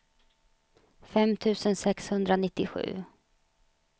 fem tusen sexhundranittiosju